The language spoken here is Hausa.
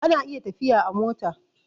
ana iya tafiya a mota